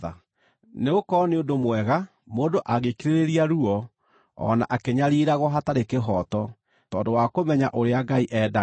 Nĩgũkorwo nĩ ũndũ mwega mũndũ angĩkirĩrĩria ruo o na akĩnyariiragwo hatarĩ kĩhooto tondũ wa kũmenya ũrĩa Ngai endaga.